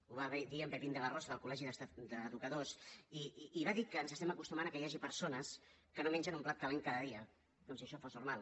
ho va dir en pepín de la rosa del col·legi d’educadors i va dir que ens estem acostumant que hi hagi persones que no mengen un plat calent cada dia com si això fos normal